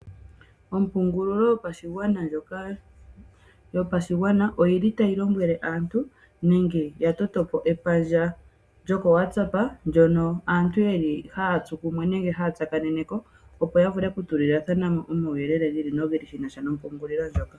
Ompungulilo yopashigwana oya totapo epandja koWhatsApp hono aantu ha ya tsu kumwe nenge ha ya tsaakanene ko opo yavule oku tu li lathanamo omauyelele gi ili nogi ili shi na sha nompungulilo ndjoka.